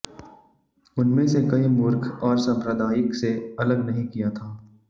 उनमें से कई मूर्ख और सांप्रदायिक से अलग नहीं किया था